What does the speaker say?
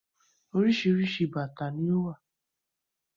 Oríṣiríṣi bàtà ni ó wà